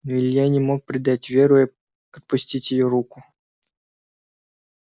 но илья не мог предать веру и отпустить её руку